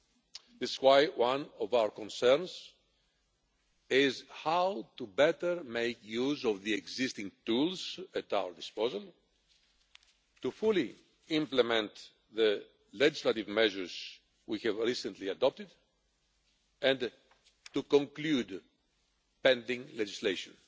This is why one of our concerns is how to better make use of the existing tools at our disposal to fully implement the legislative measures we have recently adopted and to conclude pending legislation.